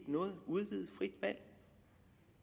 noget udvidet frit valg